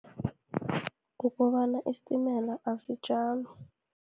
Kukobana isitimela asijami.